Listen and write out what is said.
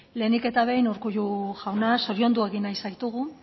lehenik eta behin urkullu jauna zoriondu egin nahi zaitugu